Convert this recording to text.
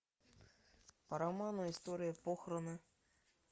по роману история похороны